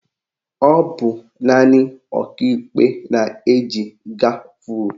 Ọ bụ naanị Ọkaikpe na-eji gavul